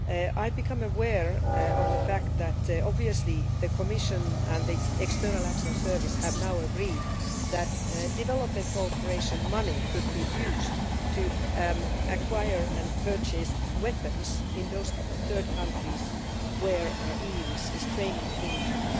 I have become aware of the fact that the Commission and the External Action Service have now agreed that development cooperation money could be used to acquire and purchase weapons in those third countries where the EU is training the military.